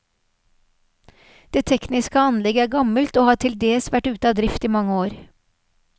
Det tekniske anlegget er gammelt og har til dels vært ute av drift i mange år.